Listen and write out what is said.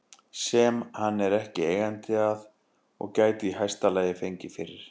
sem hann er ekki eigandi að og gæti í hæsta lagi fengið fyrir